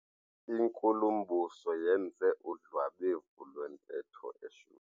Inkulumbuso yenze udlwabevu lwentetho eshushu.